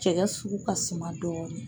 Cɛkɛ sugu ka suma dɔɔni.